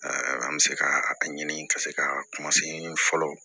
an bɛ se ka a ɲini ka se ka kuma se fɔlɔ